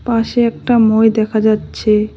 পাশে একটা মই দেখা যাচ্ছে।